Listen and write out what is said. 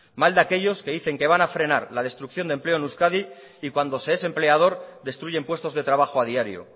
mal de aquellos que dicen que van a frenar la destrucción de empleo en euskadi y cuando se es empleador destruyen puestos de trabajo a diario